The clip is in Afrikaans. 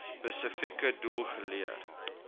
spesifieke doel geleer